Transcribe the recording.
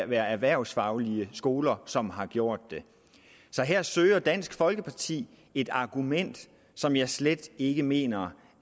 være erhvervsfaglige skoler som har gjort det så her søger dansk folkeparti et argument som jeg slet ikke mener